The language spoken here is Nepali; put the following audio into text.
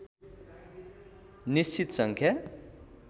निश्चित सङ्ख्या